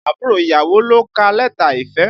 Àbúrò ìyàwó ló ka lẹ́tà ìfẹ́